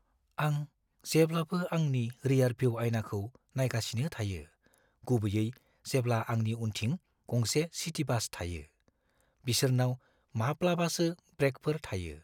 आं जेब्लाबो आंनि रिआरभिउ आयनाखौ नायगासिनो थायो, गुबैयै जेब्ला आंनि उनथिं गंसे सिटि बास थायो। बिसोरनाव माब्लाबासो ब्रेकफोर थायो।